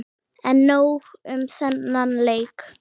En nóg um þennan leik.